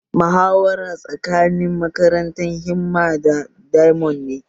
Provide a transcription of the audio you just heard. Muhawarar tsakanin makarantar himma da diamond ne